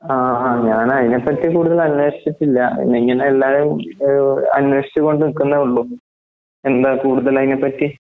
ആഹ് ഞാനതിനെപ്പറ്റി കൂടുതൽ അന്വേഷിച്ചിട്ടില്ല. പിന്നെയിങ്ങനെയെല്ലാരും ഏഹ് അന്വേഷിച്ചുകൊണ്ട്നിക്കുന്നെഒള്ളു. എന്താകൂടുതലയിനേപ്പറ്റി?